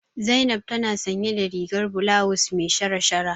Zainab tana sanye da rigar bulawus me shara-shara.